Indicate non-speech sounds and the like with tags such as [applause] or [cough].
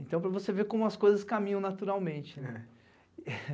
Então para você ver como as coisas caminham naturalmente, né? [laughs]